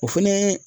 O fɛnɛ